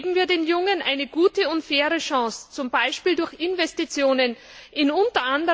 Geben wir den Jungen eine gute und faire Chance, zum Beispiel durch Investitionen in u.